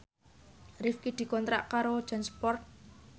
Rifqi dikontrak kerja karo Jansport